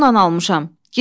Yox, pullnan almışam.